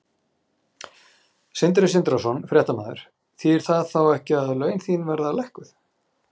Sindri Sindrason, fréttamaður: Þýðir það þá ekki að laun þín verða lækkuð?